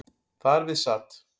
Þar við sat